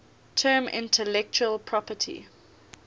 term intellectual property